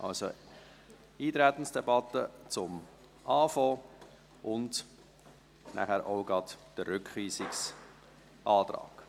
Also, zu Beginn die Eintretensdebatte und nachher auch gleich der Rückweisungsantrag.